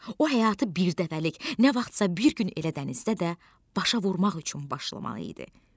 O həyatı birdəfəlik, nə vaxtsa bir gün elə dənizdə də başa vurmaq üçün başlamalı idi.